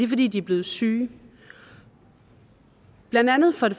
fordi de er blevet syge blandt andet fordi